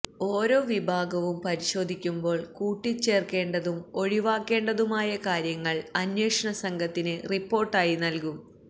ഓരോ വിഭാഗവും പരിശോധിക്കുമ്പോൾ കൂട്ടിച്ചേർക്കേണ്ടതും ഒഴിവാക്കേണ്ടതുമായ കാര്യങ്ങൾ അന്വേഷണ സംഘത്തിന് റിപ്പോർട്ടായി നൽകും